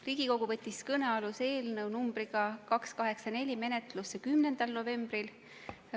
Riigikogu võttis eelnõu 284 menetlusse 10. novembril.